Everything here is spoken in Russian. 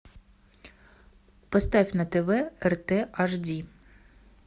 поставь на тв рт аш ди